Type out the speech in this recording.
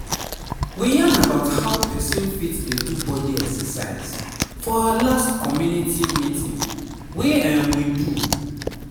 we yarn about how person fit dey do body exercise for our last community health meeting wey um we do.